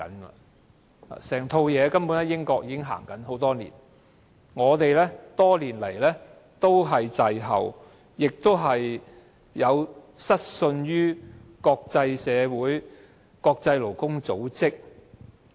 整套制度，英國已經實行多年，只是香港一直滯後，而且失信於國際社會和國際勞工組織。